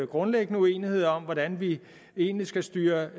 grundlæggende uenigheder om hvordan vi egentlig skal styre